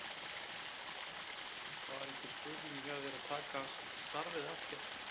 Var einhver spurning hjá þér að taka starfið að þér?